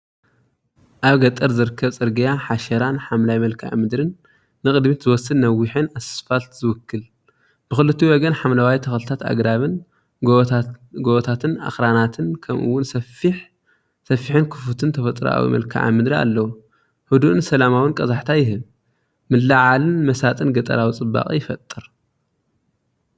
ኣብ ገጠር ዝርከብ ጽርግያ ሓሸራን ሓምላይ መልክዓ ምድርን ንቕድሚት ዝወስድ ነዊሕን ኣስፋልት ዝውክል፣ ብኽልቲኡ ወገን ሓምለዋይ ተኽልታትን ኣግራብን፡ ጎቦታትን ኣኽራናትን፡ ከምኡ’ውን ሰፊሕን ክፉትን ተፈጥሮኣዊ መልክዓ ምድሪ ኣለዎ። ህዱእን ሰላማውን ቀዛሕታ ይህብ። ምልዕዓልን መሳጥን ገጠራዊ ጽባቐ ይፈጥር።